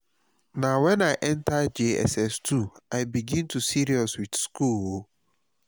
na wen i enta jss2 i begin serious with school o